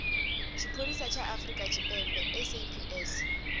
tshipholisa ya afrika tshipembe saps